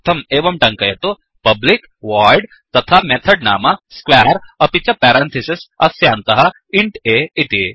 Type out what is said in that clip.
तदर्थं एवं टङ्कयतु पब्लिक voidपब्लिक् वोइड् तथा मेथड् नाम squareस्क्वेर् अपिच पेरन्थिसिस् अस्यान्तः इन्ट् a इति